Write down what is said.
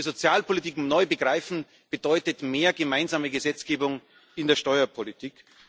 Dass wir Sozialpolitik neu begreifen, bedeutet mehr gemeinsame Gesetzgebung in der Steuerpolitik.